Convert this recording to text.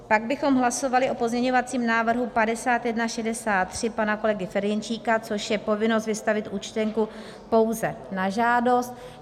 Pak bychom hlasovali o pozměňovacím návrhu 5163 pana kolegy Ferjenčíka, což je povinnost vystavit účtenku pouze na žádost.